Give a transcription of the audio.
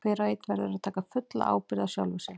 Hver og einn verður að taka fulla ábyrgð á sjálfum sér.